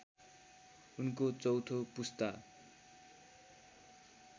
उनको चौथो पुस्ता